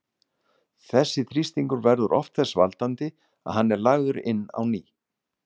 Þessi þrýstingur verður oft þess valdandi að hann er lagður inn á ný.